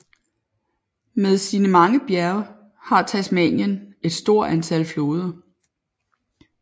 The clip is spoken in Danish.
Med sine mange bjerge har Tasmanien et stort antal floder